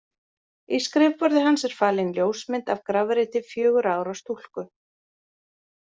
Í skrifborði hans er falin ljósmynd af grafreiti fjögurra ára stúlku.